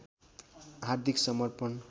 हार्दिक समर्पण